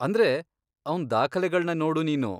ಅಂದ್ರೆ, ಅವ್ನ್ ದಾಖಲೆಗಳ್ನ ನೋಡು ನೀನು.